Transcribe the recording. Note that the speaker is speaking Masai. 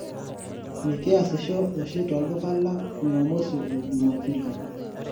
mikiasisho oshi tolduka lang jumamosi o juma pili